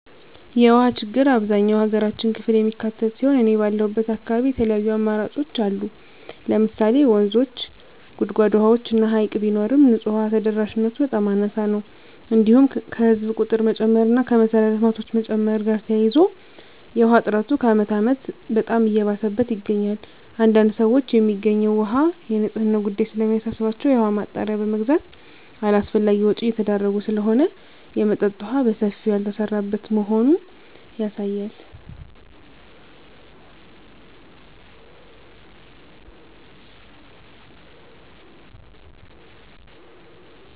የውሃ ችግር አብዛኛው የሀገራችን ክፍል የሚካትት ሲሆን እኔ ባለሁበት አካባቢ የተለያዩ አማራጮች ለምሳሌ ወንዞች; ጉድጓድ ውሃዎች እና ሀይቅ ቢኖርም ንፁህ ውሃ ተደራሽነቱ በጣም አናሳ ነው። እንዲሁም ከህዝብ ቁጥር መጨመር እና ከመሰረተ ልማቶች መጨመር ጋር ተያይዞ የውሃ እጥረቱ ከአመት አመት በጣም እየባሰበት ይገኛል። አንዳንድ ሰዎች የሚገኘው ውሃ የንፅህናው ጉዳይ ስለሚያሳስባቸው የውሃ ማጣሪያ በመግዛት አላስፈላጊ ወጭ እየተዳረጉ ስለሆነ የመጠጠጥ የውሃ በሰፊው ያልተሰራበት መሆኑ ያሳያል።